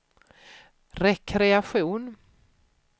rekreation